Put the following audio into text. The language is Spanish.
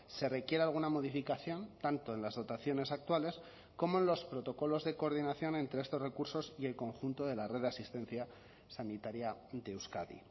se requiere alguna modificación tanto en las dotaciones actuales como en los protocolos de coordinación entre estos recursos y el conjunto de la red de asistencia sanitaria de euskadi